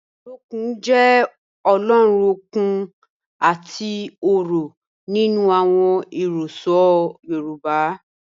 Ọlọ́kun jẹ́ Ọ̀lọ́run okun àti ọ̀rọ̀ nínu awọn ẹ̀rọsọ̀ Yorùbá